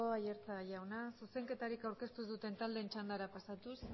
aiartza jauna zuzenketarik aurkeztu ez duten taldeen txandara pasatuz